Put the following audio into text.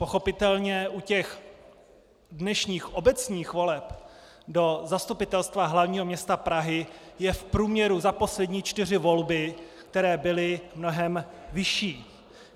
Pochopitelně, u těch dnešních obecních voleb do Zastupitelstva hlavního města Prahy je v průměru za poslední čtyři volby, které byly, mnohem vyšší.